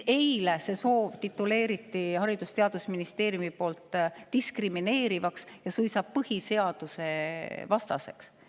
Eile tituleeriti selline soov Haridus‑ ja Teadusministeeriumi poolt diskrimineerivaks ja suisa põhiseadusevastaseks.